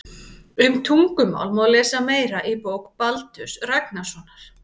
Um tungumál má lesa meira í bók Baldurs Ragnarssonar.